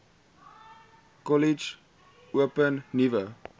kollege open nuwe